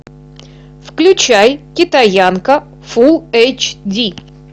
включай китаянка фул эйч ди